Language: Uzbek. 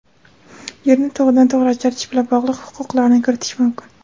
yerni to‘g‘ridan-to‘g‘ri ajratish bilan bog‘liq huquqlarni kiritish mumkin.